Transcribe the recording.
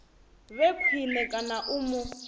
vhe khwine kana u mu